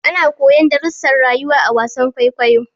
Ana koyon darrusan rayuwa a wasar kwaikwayo